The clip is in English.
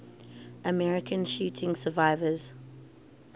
american shooting survivors